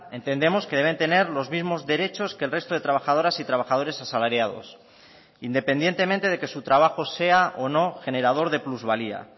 entendemos que deben tener los mismos derechos que el resto de trabajadoras y trabajadores asalariados independientemente de que su trabajo sea o no generador de plusvalía